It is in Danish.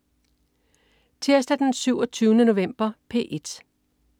Tirsdag den 27. november - P1: